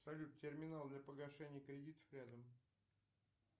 салют терминал для погашения кредитов рядом